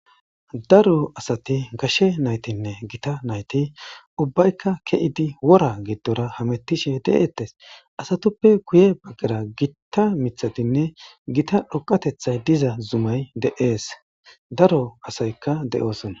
Darro asatti gashe naytinne gitta naytti ubbaykka keyiddi warra giddorahemetishe de77ossona asatuppe guye bagarra gitta mithaynne dhoqa zumay de77ees.